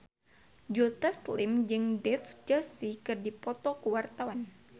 Joe Taslim jeung Dev Joshi keur dipoto ku wartawan